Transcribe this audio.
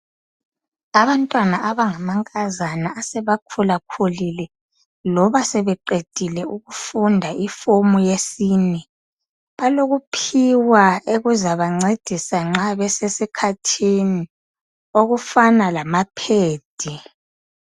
Abantwana abangamankazana abaseba khulakhulile loba sebeqedile ukufunda iform yesine, balokuphiwa okuzabancedinsa nxa besesikhathini okufana lama phedi.